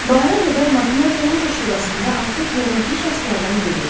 Bahara qədər Makmerdo Loja şurasında artıq hörmətli şəxslərdən biri idi.